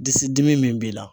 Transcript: Disi dimi min b'i la